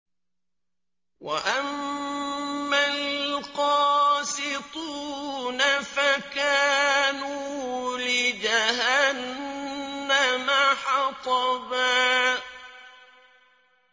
وَأَمَّا الْقَاسِطُونَ فَكَانُوا لِجَهَنَّمَ حَطَبًا